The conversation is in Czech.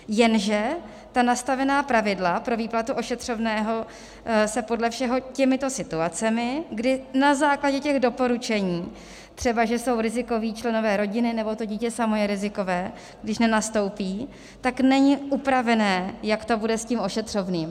Jenže ta nastavená pravidla pro výplatu ošetřovného se podle všeho těmito situacemi, kdy na základě těch doporučení, třeba že jsou rizikoví členové rodiny nebo to dítě samo je rizikové, když nenastoupí, tak není upravené, jak to bude s tím ošetřovným.